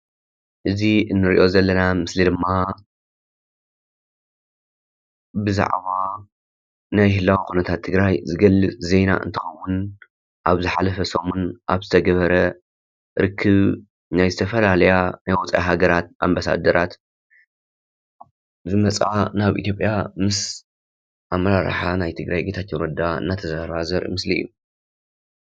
እዚ እንሪኦ ዘለና ምስሊ ድማ ብዛዕባ ናይ ህላወ ኩነታት ትግራይ ዝገልፅ ዜና እንትኸውን፤ አብ ዝሓለፈ ሰሙን አብ ዝተገበረ ርክብ ናይ ዝተፈላለያ ናይ ወፃእ ሃገራት አምበሳደራት ዝመፃ ናብ ኢትዮጵያ ምስ አመራርሓ ናይ ትግራይ ጌታቸው ረዳ እናተዘራረባ ዘርኢ ምስሊ እዩ፡፡